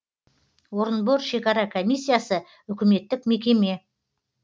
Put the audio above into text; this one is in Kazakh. орынбор шекара комиссиясы үкіметтік мекеме